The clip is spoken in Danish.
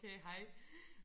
Okay hej